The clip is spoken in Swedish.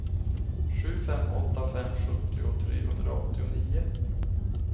sju fem åtta fem sjuttio trehundraåttionio